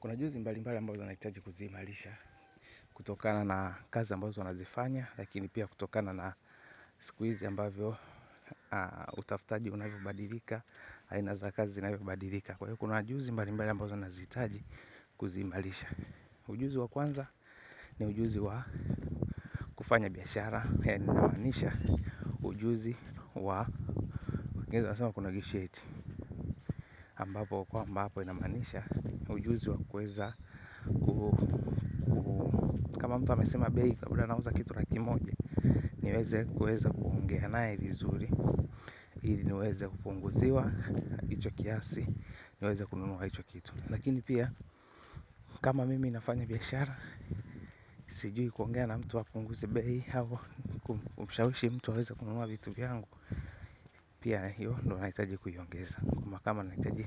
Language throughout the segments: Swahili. Kuna juzi mbalimbali ambazo tunahitaji kuziimarisha, kutokana na kazi ambazo wanazozifanya, lakini pia kutokana na siku hizi ambavyo utafutaji unavyobadilika, aina za kazi ziinavyobadilika. Kwa hiyo kuna juzi mbalimbali ambazo tunahitaji kuziimarisha. Ujuzi wa kwanza ni ujuzi wa kufanya biashara. Ujuzi wa kwa ambapo inamanisha ujuzi wa kama mtu amesema bei labda anauza kitu laki moja niweze kuweza kuongea naye vizuri ili niweze kupunguziwa hicho kiasi niweze kununua hicho kitu lakini pia kama mimi nafanya biashara sijui kuongea na mtu hapunguzi bei au kumshawishi mtu aweze kununua vitu vyangu pia hiyo ndio nahitaji kuiongeza kama nahitaji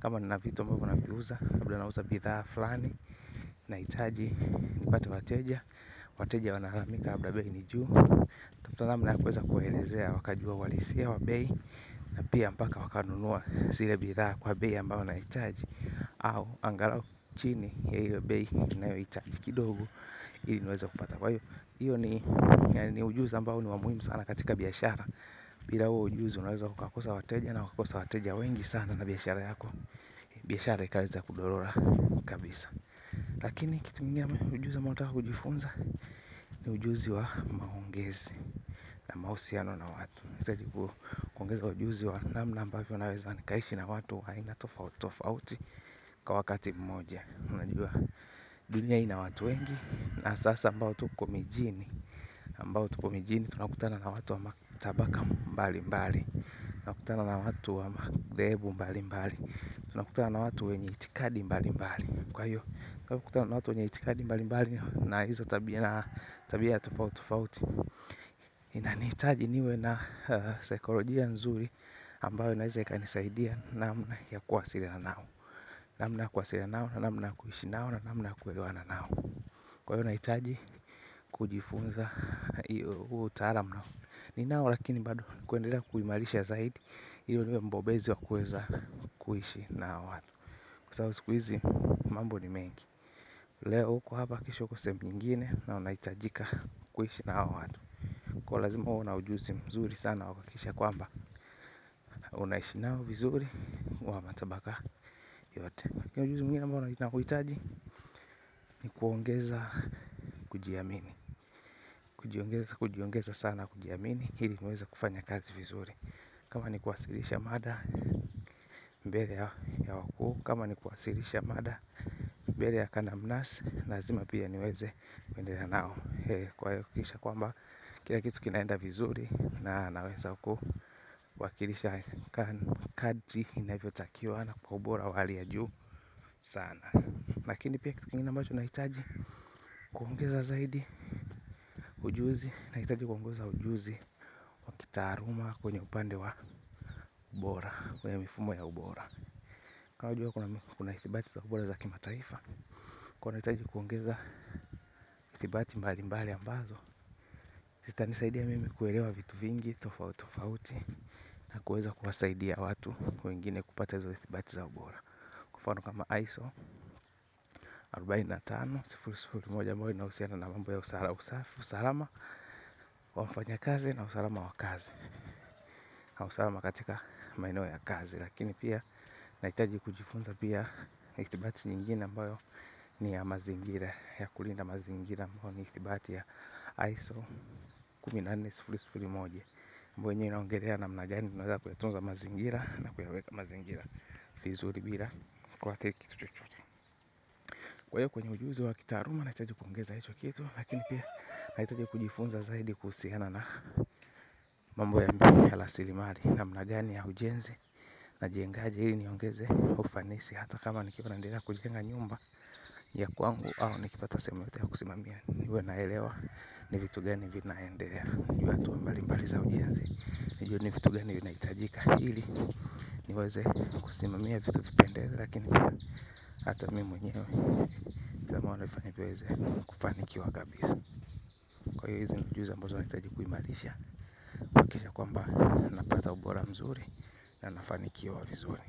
kama nina vitu ambavyo naviuza labda nauza bidhaa fulani nahitaji nipate wateja wateja wanalalamika labda bei ni juu wnatafuta namna ya kuweza kuwaelezea uhalisia wa bei na pia mpaka wakanunua zile bidhaa kwa bei ambayo nahitaji au angalau chini ya hiyo bei ninayohitaji kidogo ili niweza kupata kwa hiyo hiyo ni ujuzi ambao ni wa muhimu sana katika biashara bila huo ujuzi unaweza ukakosa wateja na ukakosa wateja wengi sana na biashara yako biashara ikawaza kudorora kabisa lakini kitu ingine ni ujuzi ambao unataka kujifunza. Ni ujuzi wa maongezi. Na mahusiano na watu. Nahitaji kuongeza ujuzi wa namna ambavyo naweza nikaishi na watu aina tofauti tofauti. Kwa wakati mmoja. Unajua dunia hii ina watu wengi. Na sasa ambao tuko mijini ambao tuko mijini. Tunakutana na watu wa matabaka mbalimbali. Tunakutana na watu wa mathehebu mbali mbali. Tunakutana na watu wenye itikadi mbalimbali kwa hiyo tunakutana na watu wenye itikadi mbalimbali. Na hizo tabia na tabia ya tofauti tofauti. Inanihitaji niwe na saikolojia nzuri ambayo inaweza ikanisaidia. Namna ya kuwasiliana nao. Namna ya kuwasiliana nao. Namna kuishi nao. Na namna kuelewana nao kwa hiyo nahitaji kujifunza. Utaalam ninao lakini bado kuendelea kuimarisha zaidi ili niwe mbobezi wa kueza. Kuishi na watu kwa sababu siku hizi mambo ni mengi. Leo uko hapa kesho uko sehemu nyingine. Na unahitajika kuishi na hawa watu kwa hiyo lazima uwe na ujuzi mzuri sana wa kuhakikisha kwamba unaishi nao vizuri wa matabaka yote. Kuna ujuzi mwingine ambao ninauhitaji. Ni kuongeza. Kujiamini. Kujiongeza sana kujiamini ili niweze kufanya kazi vizuri. Kama ni kuwasilisha mada. Mbele ya wakuu. Kama ni kuwasilisha mada. Mbele ya kadamnasi. Lazima pia niweze kuendelea nao kwa hiyo kisha kwamba kila kitu kinaenda vizuri na naweza kuwakilisha kadri inavyotakiwa na kwa ubora wa hali ya juu sana. Lakini pia kitu kingine ambacho nahitaji kuongeza zaidi ujuzi nahitaji kuongeza ujuzi wa kitaaluma kwenye upande wa ubora kwenye mifumo ya ubora. Ka wajua una ithibati za ubota wa kimataifa unahitaji kuongeza ithibati mbalimbali ambazo zitanisaidia mimi kuelewa vitu vingi, tofauti tofauti. Na kuweza kuwasaidia watu wengine kupata zo ithibati za ubora. Kwa mfano kama ISO moja inahusiana na mambo ya usalama wa mfanyakazi na usalama wa kazi kwa usalama katika maeneo ya kazi. Lakini pia nahitaji kujifunza pia ithibati nyingine ambayo ni ya mazingira. Ya kulinda mazingira ambayo ni itibati ya ISO kumi na nne moja ambayo yenyewe inaongelea namna gani tunaweza kuyatunza mazingira na kuyaweka mazingira vizuri bila kuathiri kitu chochote. Kwa hiyo kwenye ujuzi wa kitaaluma. Nahitaji kuongeza hicho kitu. Lakini pia nahitaji kujifunza zaidi. Kuhusiana na mambo ya muhimu ya rasilimali namna gani ya ujenzi. Najengaje hii niongeze. Ufanisi hata kama nikiwa naendelea kujenga nyumba ya kwangu. Au nikipata sehemu yoyote ya kusimamia. Niwe naelewa ni vitu gani. Vinaendelea jua tu mbali mbali za ujenzi. Nijue ni vitu geni vinahitajika ili niweze kusimamia vitu vipendeze. Lakini pia hata mimi mwenyewe ila maono ifanye niweze kufanikiwa kabisa. Kwa hiyo hizi ni ujuzi ambazo nahitaji kuimarisha. Kuhakikisha kwamba napata ubora mzuri. Na nafanikiwa vizuri.